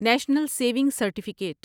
national saving certificate